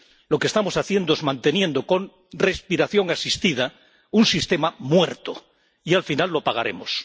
Lo que estamos haciendo es manteniendo con respiración asistida un sistema muerto y, al final, lo pagaremos.